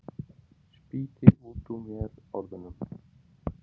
Spýti út úr mér orðunum.